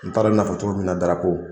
N t'a dɔn mɛ n'a fɔ cogo min na darapo.